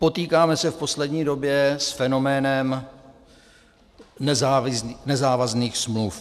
Potýkáme se v poslední době s fenoménem nezávazných smluv.